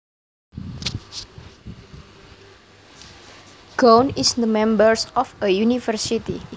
Gown is the members of a university